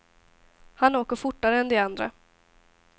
Han åker fortare än de andra.